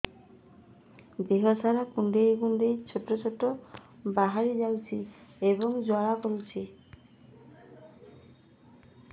ଦେହ ସାରା କୁଣ୍ଡେଇ କୁଣ୍ଡେଇ ଛେଡ଼ା ଛେଡ଼ା ବାହାରି ଯାଉଛି ଏବଂ ଜ୍ୱାଳା କରୁଛି